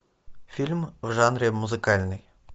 фильм в жанре музыкальный